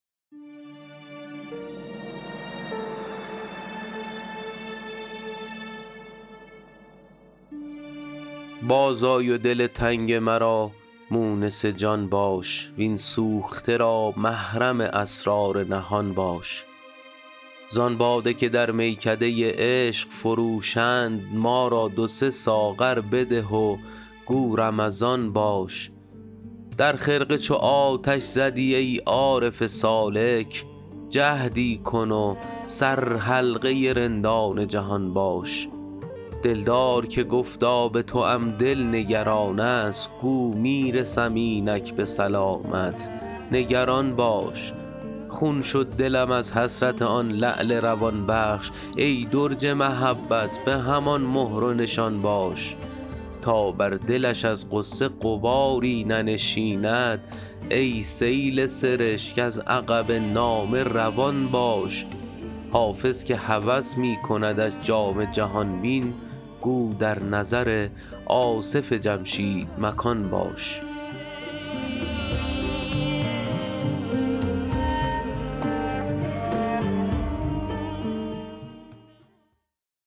باز آی و دل تنگ مرا مونس جان باش وین سوخته را محرم اسرار نهان باش زان باده که در میکده عشق فروشند ما را دو سه ساغر بده و گو رمضان باش در خرقه چو آتش زدی ای عارف سالک جهدی کن و سرحلقه رندان جهان باش دلدار که گفتا به توام دل نگران است گو می رسم اینک به سلامت نگران باش خون شد دلم از حسرت آن لعل روان بخش ای درج محبت به همان مهر و نشان باش تا بر دلش از غصه غباری ننشیند ای سیل سرشک از عقب نامه روان باش حافظ که هوس می کندش جام جهان بین گو در نظر آصف جمشید مکان باش